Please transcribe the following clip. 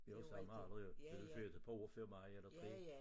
Vi har jo samme alder jo du jo født et par år før mig eller 3